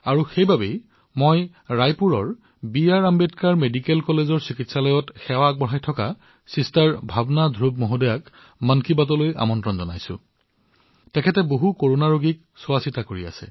সেইবাবে মই ৰায়পুৰৰ ড০ বি আৰ আম্বেদকাৰৰ মেডিকেল কলেজ চিকিৎসালয়ত সেৱা আগবঢ়োৱা ভগ্নী ভাৱনা ধ্ৰুৱজীক মন কী বাতলৈ আমন্ত্ৰণ জনাইছো তেওঁ বহুতো কৰোনা ৰোগীৰ যত্ন লৈ আছে